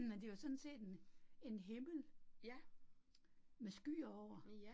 Men det jo sådan set en en himmel, med skyer over